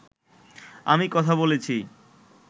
আমি কথা বলেছি